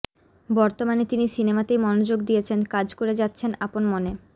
বর্তমানে তিনি সিনেমাতেই মনযোগ দিয়েছেন কাজ করে যাচ্ছেন আপন মনে